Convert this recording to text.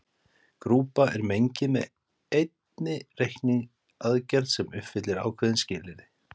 Grúpa er mengi með einni reikniaðgerð sem uppfyllir ákveðin skilyrði.